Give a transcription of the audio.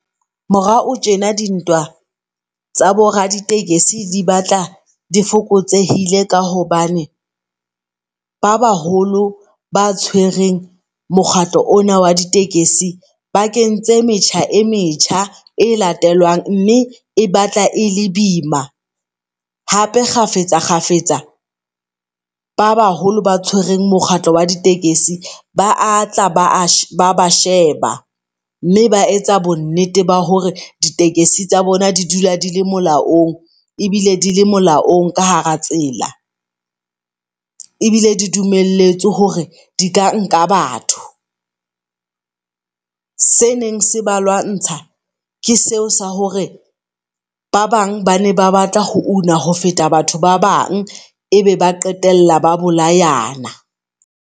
Morao tjena di ntwa tsa bo raditekesi di batla di fokotsehile ka hobane ba baholo ba tshwereng mokgatlo ona wa ditekesi bakeng tse metjha e metjha, e latelwang mme e batla e le boima. Hape kgafetsa kgafetsa ba baholo ba tshwereng mokgatlo wa ditekesi ba a tla ba ba sheba mme ba etsa bonnete ba hore di tekesi tsa bona di dula di le molaong ebile di le molaong ka hara tsela, ebile di dumelletswe hore di ka nka batho. Se neng se ba lwantsha ke seo sa hore ba bang bane ba batla ho una ho feta batho ba bang e be ba qetella ba bolayana.